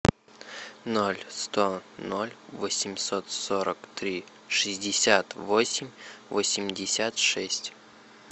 ноль сто ноль восемьсот сорок три шестьдесят восемь восемьдесят шесть